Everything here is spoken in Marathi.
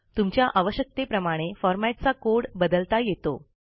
तुमच्या आवश्यकतेप्रमाणे फॉरमॅटचा कोड बदलता येतो